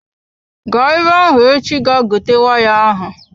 Gaa ebe ahụ echi ga gote waya ahụ!